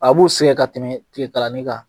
A b'u sɛgɛ ka tɛmɛ tile kalani kan.